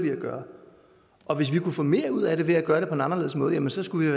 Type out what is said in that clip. vi at gøre og hvis vi kunne få mere ud af det ved at gøre det på en anderledes måde jamen så skulle vi